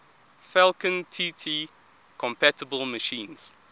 falcon tt compatible machines